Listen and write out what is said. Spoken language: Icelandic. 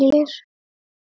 Ekkert sem ég man eftir.